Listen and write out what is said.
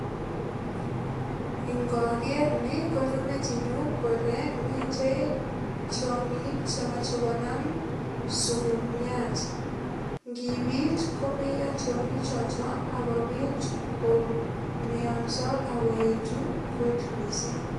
Ngaker ni konyo metinyu kole mitei tiongik che moche konam sukumiat. Ngipit komeiyo tiongichoto ak kopit komionso ak koetu kot mising.